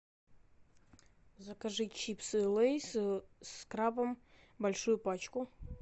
закажи чипсы лэйс с крабом большую пачку